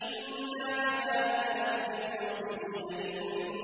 إِنَّا كَذَٰلِكَ نَجْزِي الْمُحْسِنِينَ